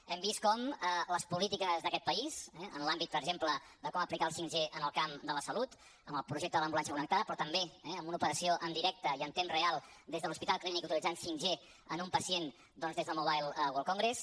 hem vist com les polítiques d’aquest país eh en l’àmbit per exemple de com aplicar el 5g en el camp de la salut amb el projecte de l’ambulància connectada però també amb una operació en directe i en temps real des de l’hospital clínic utilitzant 5g en un pacient doncs des del mobile world congress